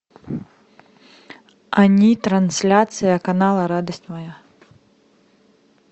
ани трансляция канала радость моя